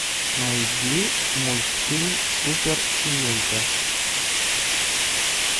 найди мультфильм суперсемейка